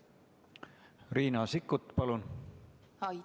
Riina Sikkut, palun!